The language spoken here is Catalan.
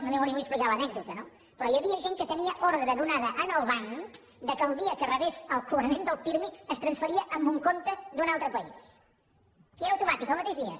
no li vull explicar l’anècdota no però hi havia gent que tenia ordre donada al banc que el dia que rebés el cobrament del pirmi es transferia a un compte d’un altre país i era automàtic el mateix dia